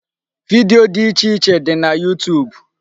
Video dị iche iche dị na YouTube.